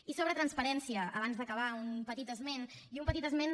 i sobre transparència abans d’acabar un petit esment i un petit esment